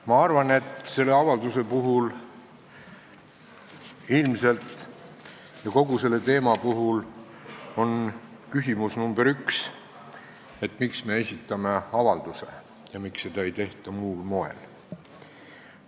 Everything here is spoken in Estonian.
Ma arvan, et ilmselt on selle avalduse ja kogu selle teema puhul küsimus nr 1 see, miks me esitame avalduse ja miks seda ei menetleta muul moel.